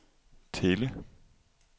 Thele